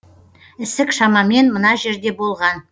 ісік шамамен мына жерде болған